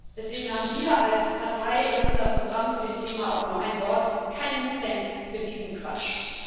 Deswegen haben wir, als Partei, in unserem Programm zu dem Thema auch nur ein Wort Keinen Cent für diesen Quatsch.